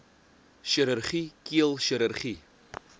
chirurgie keel chirurgie